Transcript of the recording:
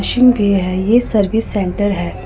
है ये service centre है।